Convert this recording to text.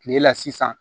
Kile la sisan